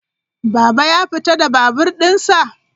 Baba ya fita da babur dinsa?